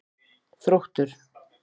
Þróttur